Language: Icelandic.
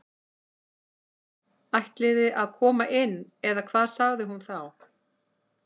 Ætliði að koma inn eða hvað sagði hún þá.